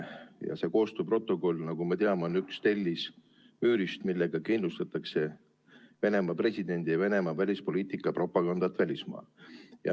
Ja see koostööprotokoll, nagu me teame, on üks tellis müüris, millega kindlustatakse Venemaa presidendi ja Venemaa välispoliitika propagandat välismaal.